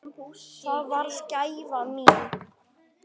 Það varð gæfa mín.